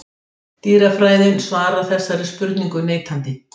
Dýrafræðin svarar þessari spurningu neitandi.